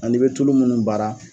An'i be tulu mun baara